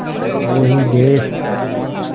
वो ही देस